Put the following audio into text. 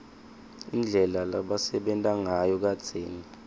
indlela lebebasebenta ngayo kadzeni